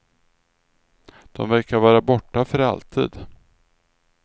De verkar vara borta för alltid.